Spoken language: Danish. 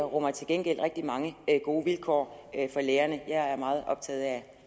rummer til gengæld rigtig mange gode vilkår for lærerne jeg er meget optaget af